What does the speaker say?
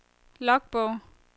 logbog